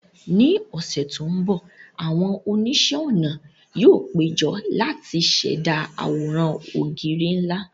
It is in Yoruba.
Ní ọ̀sẹ̀ tó ń bọ̀, àwọn oníṣẹ́-ọnà yóò péjọ láti ṣẹ̀dá àwòrán ògiri ńlá